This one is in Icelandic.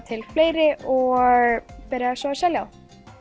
til fleiri og byrjaði svo að selja þá